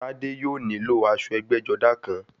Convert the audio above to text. Tádé yóò nílò aṣọ ẹgbẹ́-jọdá kan.